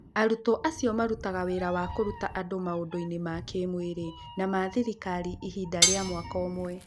Arutwo acio marutaga wĩra wa kũruta andũ maũndũ maũndũ-inĩ ma kĩĩmwĩrĩ na ma thirikari ihinda rĩa mwaka ũmwe.